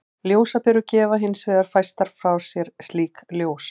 Ljósaperur gefa hins vegar fæstar frá sér slíkt ljós.